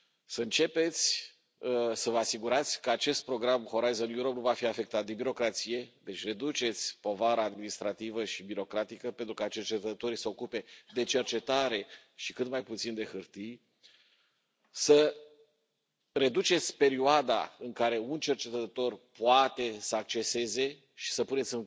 Să începeți să vă asigurați că acest program Horizon Europe nu va fi afectat de birocrație deci reduceți povara administrativă și birocratică, pentru ca cercetătorii să se ocupe de cercetare și cât mai puțin de hârtii să reduceți perioada în care un cercetător poate să acceseze și să puneți